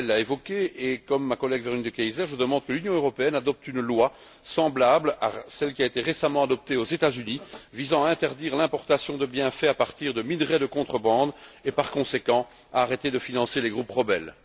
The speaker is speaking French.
Chastel l'a évoqué comme ma collègue Véronique De Keyser, je demande que l'Union européenne adopte une loi semblable à celle qui a été récemment adoptée aux États Unis, visant à interdire l'importation de biens fabriqués à partir de minerais de contrebande et, par conséquent, à arrêter le financement des groupes rebelles.